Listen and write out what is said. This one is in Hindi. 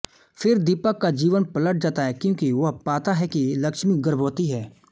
फिर दीपक का जीवन पलट जाता है क्योंकि वह पाता है कि लक्ष्मी गर्भवती है